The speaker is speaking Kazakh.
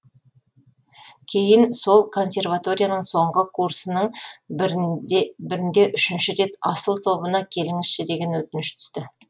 кейін сол консерваторияның соңғы курсының бірінде үшінші рет асыл тобына келіңізші деген өтініш түсті